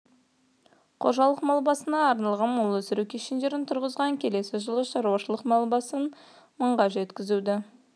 қожалық мал басына арналған мал өсіру кешендерін тұрғызған келесі жылы шаруашылық мал басын мыңға жеткізуді